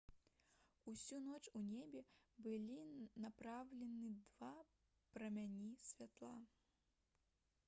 усю ноч у неба былі напраўлены два прамяні святла